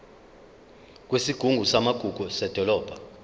kwesigungu samagugu sedolobha